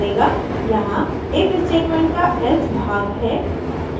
यहाँ if statement का else भाग है